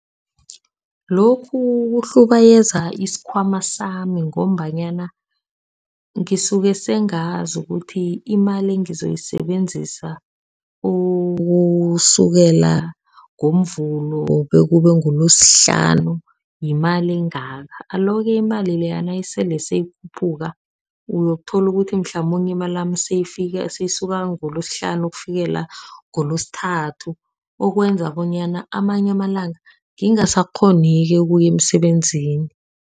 Lokhu kuhlubayeza isikhwama sami ngombanyana ngisuke sengazi ukuthi imali engizoyisebenzisa ukusukela ngoMvulo, bekube nguLosihlanu yimali engaka. Alo-ke imali leya nayisele seyikhuphuka uyokuthola ukuthi mhlamunye imali seyifaka seyisuka ngoLosihlanu ukufikela ngoLwesithathu okwenza bonyana amanye amalanga ngingasakghonike ukuya emsebenzini.